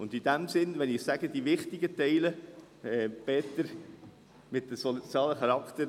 Und in diesem Sinn … Wenn ich «die wichtigen Teile» sage, Peter Siegenthaler: jene mit sozialem Charakter;